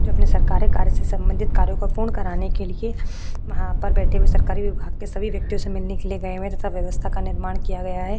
जो अपने सरकारे कार्य से संबंधित कार्यों को पूर्ण कराने के लिए वहाँ पर सब बैठे हुए सरकारी विभाग के सभी व्यक्तियों से मिलने के लिए गए हुए हैं तथा व्यवस्था का निर्माण किया गया है।